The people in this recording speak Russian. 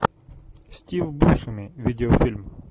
стив бушеми видеофильм